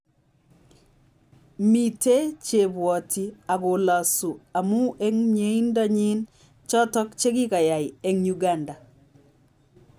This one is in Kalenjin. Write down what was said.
Mite chebwati akolosu amu eng mnyiendo nyin choto chikikayay eng Uganda.